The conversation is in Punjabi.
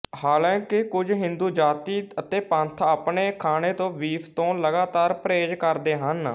ਹਾਲਾਂਕਿ ਕੁੱਝ ਹਿੰਦੂ ਜਾਤੀ ਅਤੇ ਪੰਥ ਆਪਨੇ ਖਾਣੇ ਤੋਂ ਬੀਫ ਤੋਂ ਲਗਾਤਾਰ ਪ੍ਰਹੇਜ ਕਰਦੇ ਹਨ